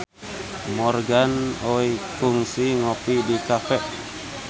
Morgan Oey kungsi ngopi di cafe